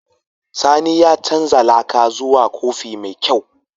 Sani ya canza laka zuwa kofi mai kyau.